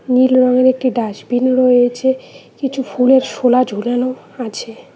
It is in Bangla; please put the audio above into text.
নীল রঙের একটি ডাসবিন রয়েছে কিছু ফুলের শোলা ঝোলানো আছে।